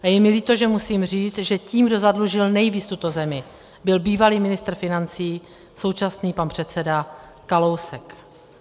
Je mi líto, že musím říct, že tím, kdo zadlužil nejvíc tuto zemi, byl bývalý ministr financí, současný pan předseda Kalousek.